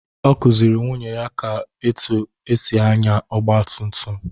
Ọ kụziiri nwunye ya otú e si ànyá ọgba tum tum.